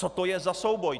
Co to je za souboj?